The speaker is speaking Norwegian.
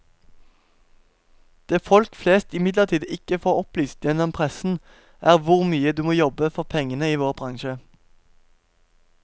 Det folk flest imidlertid ikke får opplyst gjennom pressen, er hvor mye du må jobbe for pengene i vår bransje.